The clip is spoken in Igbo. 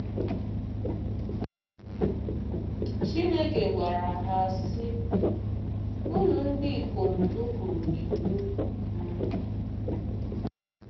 Chineke gwara ha, sị: “Unu ndị ikom nupụụrụ iwu m.”